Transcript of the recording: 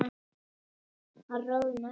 Hann roðnar.